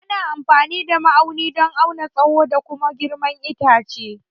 Ana amfani da ma'auni don auna tsaho da kuma girman itace.